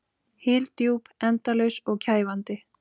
Hyldjúp, endalaus og kæfandi.